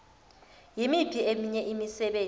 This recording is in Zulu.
yimiphi eminye imisebenzi